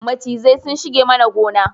Macizai sun shige mana gona